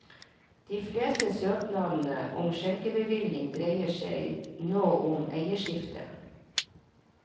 De fleste søknadene om skjenkebevilling dreier seg nå om eierskifte.